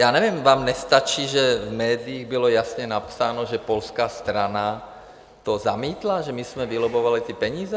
Já nevím, vám nestačí, že v médiích bylo jasně napsáno, že polská strana to zamítla, že my jsme vylobbovali ty peníze?